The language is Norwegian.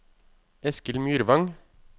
Eskil Myrvang